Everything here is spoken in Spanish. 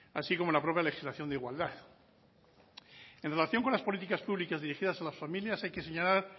así como la propia legislación de igualdad en relación con las políticas públicas dirigidas a las familias hay que señalar